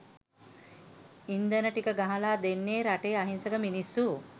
ඉන්ධන ටික ගහලා දෙන්නේ රටේ අහිංසක මිනිස්‌සු.